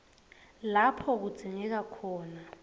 lapho kudzingeka khona